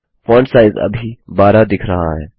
font size अभी 12 दिख रहा है